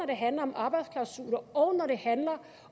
det handler om arbejdsklausuler og når det handler